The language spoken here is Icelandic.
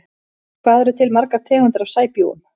Hvað eru til margar tegundir af sæbjúgum?